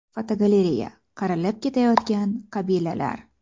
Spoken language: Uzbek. Fotogalereya: Qirilib ketayotgan qabilalar.